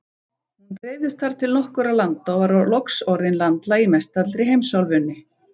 Hún dreifðist þar til nokkurra landa og var loks orðin landlæg í mestallri heimsálfunni.